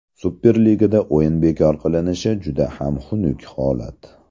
Superligada o‘yin bekor qilinishi juda ham xunuk holat.